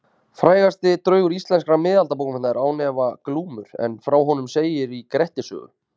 Frægasti draugur íslenskra miðaldabókmennta er án efa Glámur en frá honum segir í Grettis sögu.